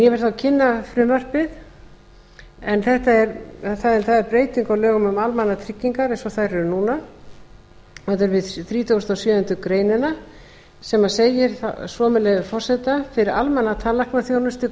ég vil þá kynna frumvarpið en það er breyting á lögum um almannatryggingar eins og þær eru núna það er við þrítugustu og sjöundu greinar sem segir svo með leyfi forseta fyrir almenna tannlæknaþjónustu